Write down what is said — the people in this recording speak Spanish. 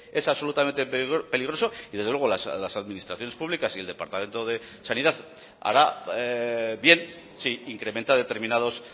es absolutamente peligroso y desde luego las administraciones públicas y el departamento de sanidad hará bien sí incrementa determinados